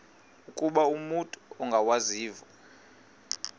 ukuba umut ongawazivo